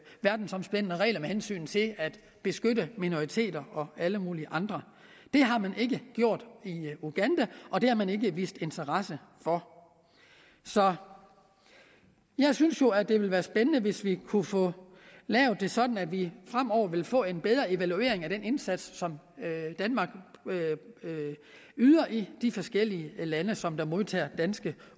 verdensomspændende regler med hensyn til at beskytte minoriteter og alle mulige andre det har man ikke gjort i uganda og det har man ikke vist interesse for så jeg synes jo at det ville være spændende hvis vi kunne få lavet det sådan at vi fremover vil få en bedre evaluering af den indsats som danmark yder i de forskellige lande som modtager danske